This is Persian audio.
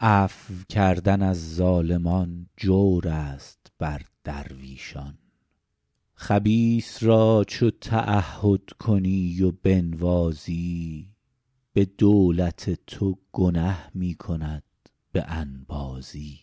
عفو کردن از ظالمان جور است بر درویشان خبیث را چو تعهد کنی و بنوازی به دولت تو گنه می کند به انبازی